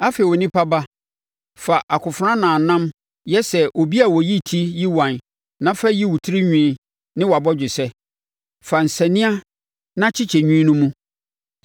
“Afei onipa ba, fa akofena nnamnnam yi yɛ sɛ obi a ɔyi ti yiwan na fa yi wo tirinwi ne wʼabɔgyesɛ. Fa nsania na kyekyɛ nwi no mu.